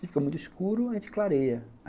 Se fica muito escuro, a gente clareia.